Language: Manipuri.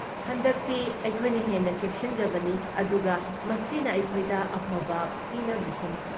ꯍꯟꯗꯛꯇꯤ, ꯑꯩꯈꯣꯏꯅ ꯍꯦꯟꯅ ꯆꯦꯛꯁꯤꯟꯖꯕꯅꯤ ꯑꯗꯨꯒ ꯃꯁꯤꯅ ꯑꯩꯈꯣꯏꯗ ꯑꯐꯕ ꯄꯤꯅꯕꯤꯁꯅꯨ꯫